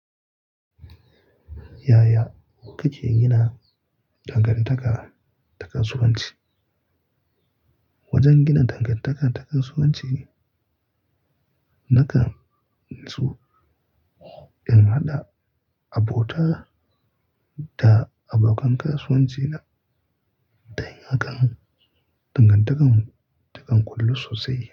Yaya kuke gina dangantaka ta kasuwanci? Wajen gina dangantaka ta kasuwanci ne, nakan so in haɗa abota da abokan kasuwanci na don hakan dangantakar mu takan ƙullu sosai.